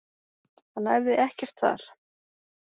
Hann æfði ekkert þar.